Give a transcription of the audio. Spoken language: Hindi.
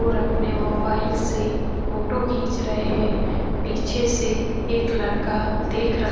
और अपने मोबाईल से फोटो खिच रहे है पीछे से एक लड़का देख रहा --